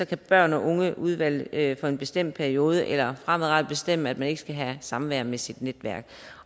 kan børn og ungeudvalget for en bestemt periode eller fremadrettet bestemme at man ikke skal have samvær med sit netværk